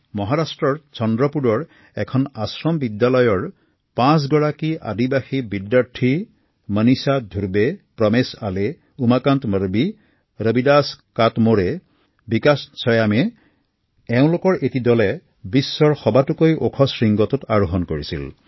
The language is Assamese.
১৬ মেত মহাৰাষ্ট্ৰৰ চন্দ্ৰপুৰৰ এখন আশ্ৰম বিদ্যালয়ৰ মনীষা ধুৰবে প্ৰমেশ আলী উমাকান্ত মাধাৱী কবিদাস কাটমোড়ে আৰু বিকাশ সোয়ম নামৰ পাঁচগৰাকী জনজাতীয় শিক্ষাৰ্থীৰে গঠিত এটি দলে বিশ্বৰ সবাতোকৈ ওখ শৃংখটোত আৰোহণ কৰিছিল